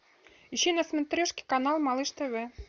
ищи на смотрешке канал малыш тв